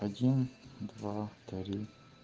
один два три